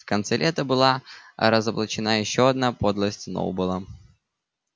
в конце лета была разоблачена ещё одна подлость сноуболла